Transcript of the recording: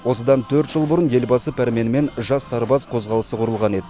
осыдан төрт жыл бұрын елбасы пәрменімен жас сарбаз қозғалысы құрылған еді